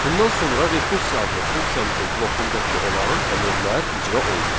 Bundan sonra rekursiya adlı funksiyamızın blokundakı olan əmrlər icra olunur.